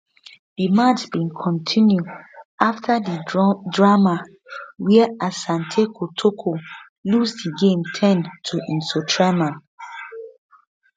di match bin kontinu afta di drama wia asante kotoko lose di game ten to nsoatreman